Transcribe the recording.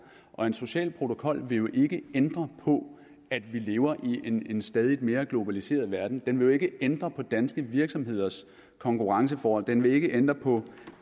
og en social protokol vil jo ikke ændre på at vi lever i en en stadig mere globaliseret verden den vil jo ikke ændre på danske virksomheders konkurrenceforhold den vil ikke ændre på